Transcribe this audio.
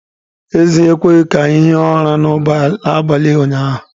Ezi ekweghị ka anyị hie ụra n’abalị ụnyahụ